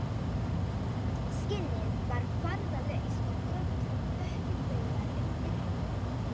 Skinnið var farðalaust og gróft og dökkir baugar undir augunum